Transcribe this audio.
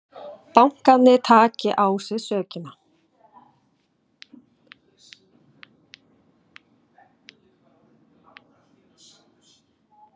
Bankarnir taki á sig sökina